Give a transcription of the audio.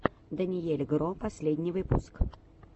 дэниель гро последний выпуск